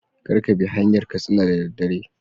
Kar Kabi hanyar katsina da daddare